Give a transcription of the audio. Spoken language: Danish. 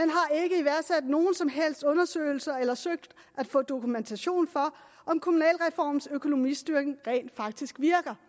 at nogen som helst undersøgelser eller søgt at få dokumentation for om kommunalreformens økonomistyring rent faktisk virker